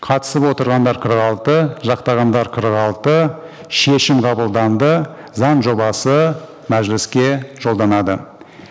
қатысып отырғандар қырық алты жақтағандар қырық алты шешім қабылданды заң жобасы мәжіліске жолданады